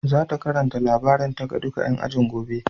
Za ta karanta labarinta ga duka ƴan ajin gobe.